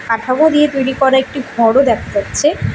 কাঠামো দিয়ে তৈরি করা একটি ঘরও দেখা যাচ্ছে।